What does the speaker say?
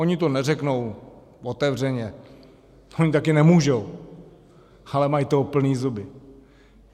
Oni to neřeknou otevřeně, oni taky nemůžou, ale mají toho plný zuby.